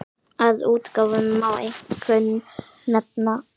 Af útgáfum má einkum nefna